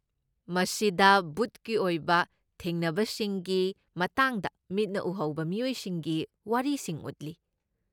ꯃꯁꯤꯗ ꯕꯨꯠꯀꯤ ꯑꯣꯏꯕ ꯊꯦꯡꯅꯕꯁꯤꯡꯒꯤ ꯃꯇꯥꯡꯗ ꯃꯤꯠꯅ ꯎꯍꯧꯕ ꯃꯤꯑꯣꯏꯁꯤꯡꯒꯤ ꯋꯥꯔꯤꯁꯤꯡ ꯎꯠꯂꯤ꯫